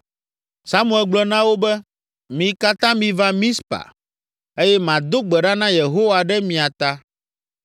Samuel gblɔ na wo be, “Mi katã miva Mizpa eye mado gbe ɖa na Yehowa ɖe mia ta.”